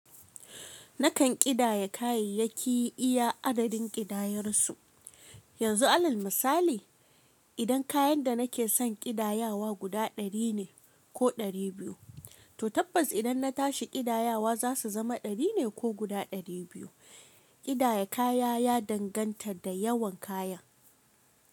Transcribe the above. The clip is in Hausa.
Nakan ƙidaya kayayyaki iya adadin ƙidayarsu. Yanzu alal misali, idan kayan da nake son ƙidayawa guda ɗari ne ko ɗari biyu, to tabbas idan na tashi ƙidayawa za su zama ɗari ne ko guda ɗari biyu. Ƙidaya kaya ya danganta da yawan kaya.